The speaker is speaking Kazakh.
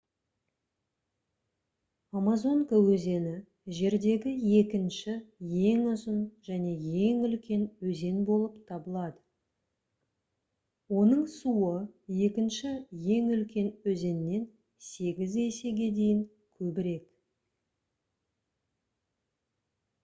амазонка өзені жердегі екінші ең ұзын және ең үлкен өзен болып табылады оның суы екінші ең үлкен өзеннен 8 есеге дейін көбірек